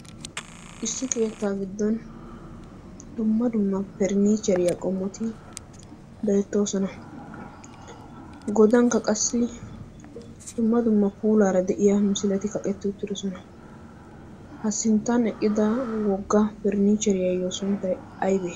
issi keettaa giddon dumma dumma periniicheriyaa qommoti be'ettoosona godankka qassi dumma dumma puulaara de'iya misileti kaqetti uttidosona. ha sinttan eqqida wogga pernniicheriyaayyo sunttai aybee?